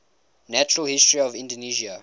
natural history of indonesia